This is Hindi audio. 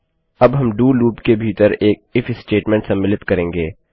अब हम डीओ लूप के भीतर एक इफ स्टेटमेंट सम्मिलित करेंगे